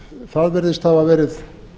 það virðist hafa verið